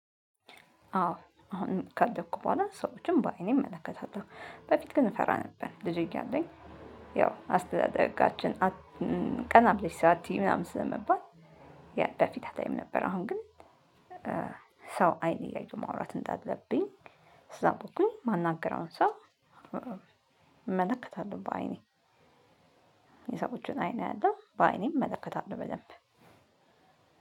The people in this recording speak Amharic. አዎ አሁን ካደኩ በኋላ ሰዎችን በአይኔ እመለከታለሁ። በፊት ግን እፈራ ነበር። ልጅ እያለን ያው አስተዳደጋችን ቀና ብለሽ ስአትይ ምናምን ስለመባል ይኔ ፊት አታይም ነበር አሁን ግን ሰው አይን እያየሁ መወራት እንዳለብኝ ሰው ከሆንኩኝ የማናግረውን ሰው እመለከታለሁ በአይኔ። የሰዎችን አይኔ አያለሁ። በአይኔ እመለከታለሁ። በደንብ